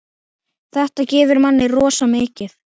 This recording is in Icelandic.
Þetta gefur manni rosa mikið.